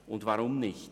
Weshalb nicht?